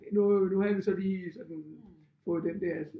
Nu nu havde vi så lige sådan fået den der